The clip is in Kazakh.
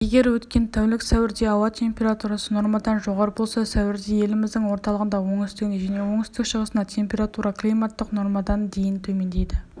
егер өткен тәулік сәуірде ауа температурасы нормадан жоғары болса сәуірде еліміздің орталығында оңтүстігінде және оңтүстік-шығысында температура климаттық нормадан дейін төмендейді